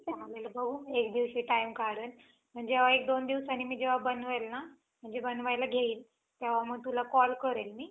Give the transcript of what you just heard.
तर आपल्याला पाऊसाची वाट असते. जेव्हा पाऊस येत असतो, तेव्हा आपण बी-बियाणे लावत असतो. ठीके? तर ते बी-बियाणे लावले. मग पाऊस येतो. मग आपल्याला माहितीयं खूपदा असं होत की, पाऊस एकदोनदा येतो. नंतर तो,